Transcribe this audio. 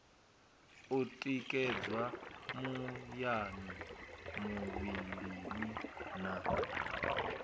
u tikedzwa muyani muvhilini na